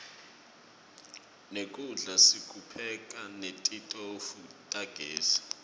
nekudla sikupheka netitofu tagezi